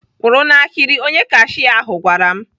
"Kwụrụ n'ahịrị!" Onye kashia ahụ gwara m.